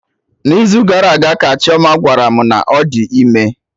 N'izu gara aga ka Chioma gwara mụ na ọ dị ime